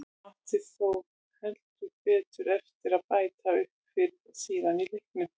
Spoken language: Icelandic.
Hann átti þó heldur betur eftir að bæta upp fyrir það síðar í leiknum.